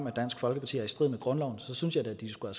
af dansk folkeparti er i strid med grundloven så synes jeg da at de skulle